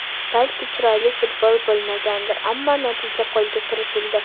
Balki chiroyli futbol bo‘lmagandir, ammo natija qo‘lga kiritildi.